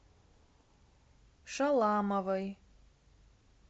шаламовой